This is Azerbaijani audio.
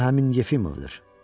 Bu həmin Yefimovdur.